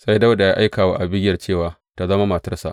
Sai Dawuda ya aika wa Abigiyel cewa tă zama matarsa.